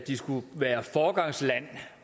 skulle være et foregangsland